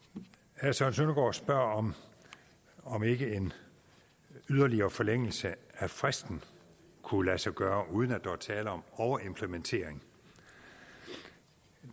herre søren søndergaard spørger om ikke en yderligere forlængelse af fristen kunne lade sig gøre uden at der var tale om overimplementering